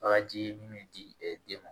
Bagaji min bɛ di den ma